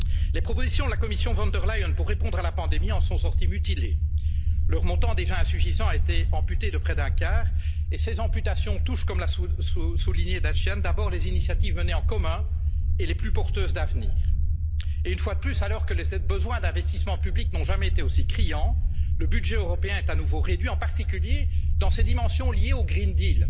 Les propositions la Commission Von der Leyen pour répondre à la pandémie en sont sorties mutilées leur montant, déjà insuffisant, a été amputé de près d'un quart, et ces amputations touchent, comme l'a souligné Charles Michel, d'abord les initiatives menées en commun et les plus porteuses d'avenir. Et une fois de plus, alors que les besoins d'investissement public n'ont jamais été aussi criants, le budget européen est à nouveau réduit, en particulier dans ses dimensions liées au pacte vert.